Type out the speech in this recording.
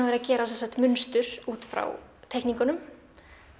verið að gera munstur út frá teikningunum